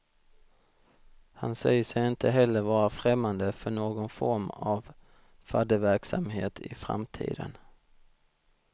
Han säger sig inte heller vara främmande för någon form av fadderverksamhet i framtiden.